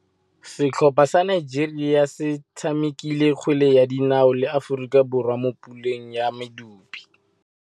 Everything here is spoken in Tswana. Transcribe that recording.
Setlhopha sa Nigeria se tshamekile kgwele ya dinaô le Aforika Borwa mo puleng ya medupe.